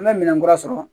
An bɛ minɛnkura sɔrɔ